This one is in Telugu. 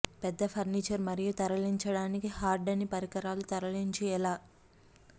పెద్ద ఫర్నిచర్ మరియు తరలించడానికి హార్డ్ అని పరికరాలు తరలించు ఎలా